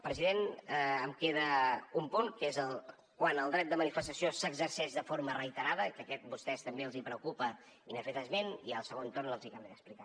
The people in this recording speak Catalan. president em queda un punt que és quan el dret de manifestació s’exerceix de forma reiterada que aquest a vostès també els preocupa i n’han fet esment i al segon torn els hi acabaré d’explicar